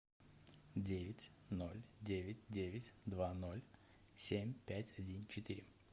девять ноль девять девять два ноль семь пять один четыре